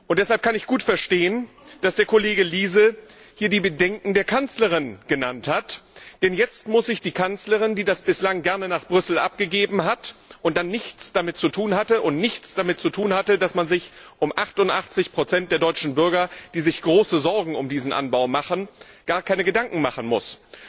Deshalb kann ich gut verstehen, dass der Kollege Liese hier die Bedenken der Kanzlerin genannt hat, denn jetzt wird sich die Kanzlerin, die das bislang gerne nach Brüssel abgegeben hat und dann nichts damit zu tun hatte und nichts damit zu tun hatte, dass man sich um 88 der deutschen Bürger, die sich große Sorgen um diesen Anbau machen, gar keine Gedanken machen musste,